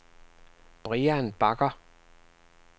Brian Bagger